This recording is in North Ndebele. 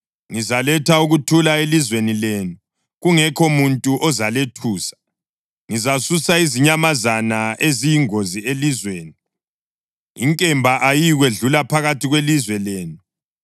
Ngizaletha ukuthula elizweni lenu, kungekho muntu ozalethusa. Ngizasusa izinyamazana eziyingozi elizweni; inkemba ayiyikwedlula phakathi kwelizwe lenu.